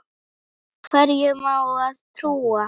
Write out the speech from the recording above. Hverjum á að trúa?